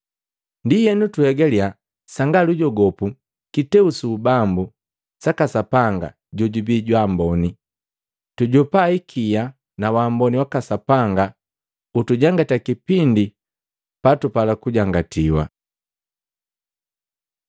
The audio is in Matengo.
Ndienu tuhegaliya sanga lujogopu kiteu su ubambu saka Sapanga jojubii jwaamboni, tujopa hikia nawamboni waka Sapanga ukutujangati kipindi patupala kujangatiwa.